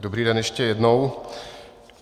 Dobrý den ještě jednou.